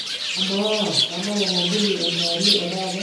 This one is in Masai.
amaa kanap ormambuli enkewarie etaata